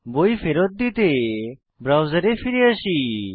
বই ফেরৎ দিতে ব্রাউজারে ফিরে আসি